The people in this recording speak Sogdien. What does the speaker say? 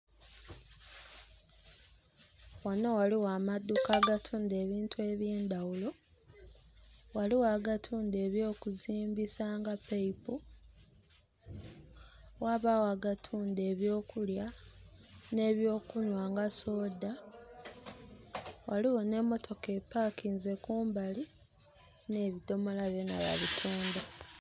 Ghano ghaligho amaduuka aga tunda ebintu eby'endaghulo. Ghaligho aga tunda eby'okuzimbisa nga pipe, ghabagho aga tunda eby'okulya n'ebyokunhwa nga soda. Ghaligho n'emotoka epankinze kumbali, n'ebidhomola byona babitunda.